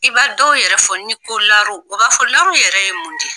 I b'a dɔw yɛrɛ fɔ, ni ko laro u b'a fɔ laro yɛrɛ ye mun di ?